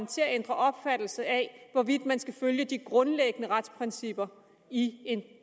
til at ændre opfattelse af hvorvidt man skal følge de grundlæggende retsprincipper i